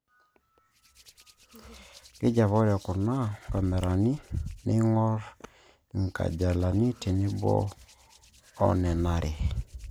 Keji apa ore kuna kamerani niing'orr inkajalini tenebo o enarare